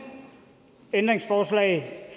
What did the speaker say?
ændringsforslag